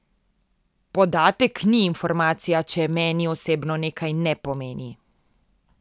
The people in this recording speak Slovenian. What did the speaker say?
Podatek ni informacija, če meni osebno nekaj ne pomeni.